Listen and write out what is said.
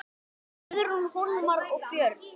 Guðrún, Hólmar og börn.